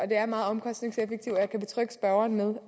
det er meget omkostningseffektivt og jeg kan betrygge spørgeren med